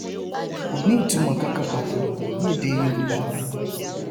kò ní ìtumọ kankan pàtó ní èdè yorùbá